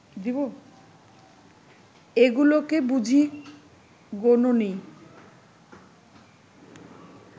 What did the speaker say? এগুলোকে বুঝি গোনোনি